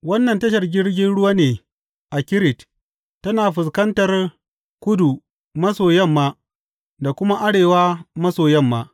Wannan tashar jirgin ruwa ne a Kirit, tana fuskantar kudu maso yamma da kuma arewa maso yamma.